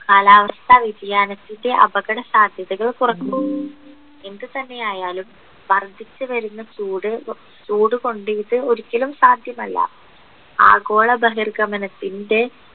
കാലാവസ്ഥ വ്യതിയാനത്തിൻ്റെ അപകടസാധ്യതകൾ കുറക്കുന്നു എന്തുതന്നെ ആയാലും വർദ്ധിച്ചുവരുന്ന ചൂട് ചൂട് കൊണ്ടിട്ട് ഒരിക്കലും സാധ്യമല്ല ആഗോളഭഹിർഗമനത്തിൻ്റെ